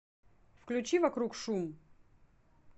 включи вокруг шум